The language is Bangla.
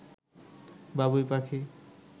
বাবুই পাখি